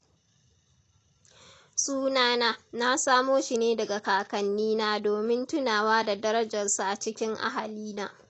Suna na, na samo shi ne daga kakannina domin tunawa da darajarsu a cikin ahalina.